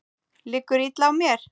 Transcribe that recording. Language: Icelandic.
Liggur illa á mér?